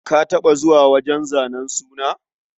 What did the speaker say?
Ka taɓa zuwa wajen zanen suna?